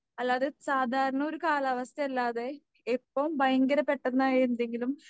അല്ലാതെ സാധാരണയൊരു കാലാവസ്ഥയല്ലാതെ ഇപ്പം ഭയങ്കര പെട്ടെന്നായി എന്തെങ്കിലും